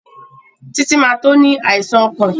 Títí ma tó ní àìsàn ọkàn